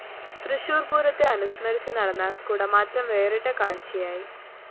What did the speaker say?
തൃശൂര്‍ പൂരത്തെ അനുസ്മരിച്ച് നടന്ന കുടമാറ്റം വേറിട്ട കാഴ്ചയയായി